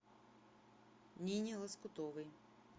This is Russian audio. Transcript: нине лоскутовой